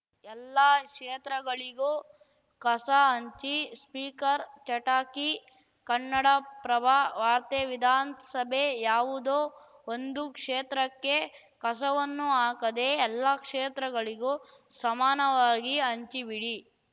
ಎಲ್ಲಾ ಕ್ಷೇತ್ರಗಳಿಗೂ ಕಸ ಹಂಚಿ ಸ್ಪೀಕರ್‌ ಚಟಾಕಿ ಕನ್ನಡಪ್ರಭ ವಾರ್ತೆ ವಿಧಾನ್ ಸಭೆ ಯಾವುದೋ ಒಂದು ಕ್ಷೇತ್ರಕ್ಕೆ ಕಸವನ್ನು ಹಾಕದೆ ಎಲ್ಲಾ ಕ್ಷೇತ್ರಗಳಿಗೂ ಸಮನವಾಗಿ ಹಂಚಿ ಬಿಡಿ